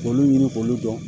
K'olu ɲini k'olu dɔn